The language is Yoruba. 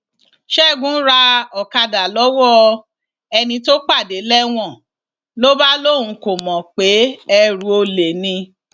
ṣẹgun ra ọkadà lọwọ ẹni tó pàdé lẹwọn ló bá lóun kò mọ pé ẹrú olè ni